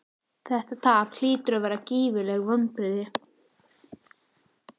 Þetta tap hlýtur að vera gífurleg vonbrigði?